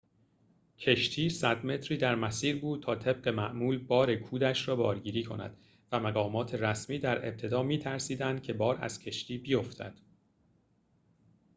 کشتی ۱۰۰ متری در مسیر بود تا طبق معمول بار کودش را بارگیری کند و مقامات رسمی در ابتدا می‌ترسیدند که بار از کشتی بیفتد